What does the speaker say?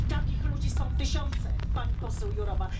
I takich ludzi są tysiące, Pani komisarz Jourova.